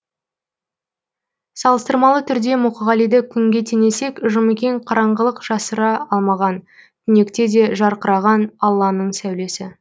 салыстырмалы түрде мұқағалиды күнге теңесек жұмекен қараңғылық жасыра алмаған түнекте де жарқыраған алланың сәулесі